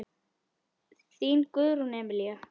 Þín Guðrún Emilía.